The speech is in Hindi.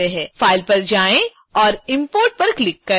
file पर जाएँ और import पर click करें